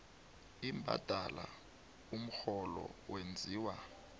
imbadalo umrholo wenziwa